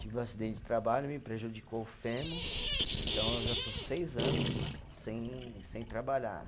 Tive um acidente de trabalho, me prejudicou o fêmur, então eu já estou seis anos sem sem trabalhar.